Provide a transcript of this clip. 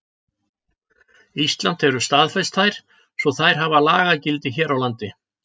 Ísland hefur staðfest þær svo þær hafa lagagildi hér á landi.